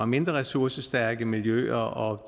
mindre ressourcestærke miljøer